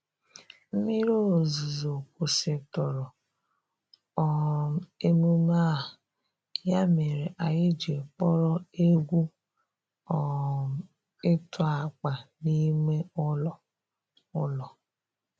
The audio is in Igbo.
Mmiri ozuzo kwusitụrụ um emume a, ya mere anyị ji kpọrọ egwu um ịtụ akpa n'ime ụlọ. ụlọ.